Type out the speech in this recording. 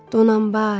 Donanbay.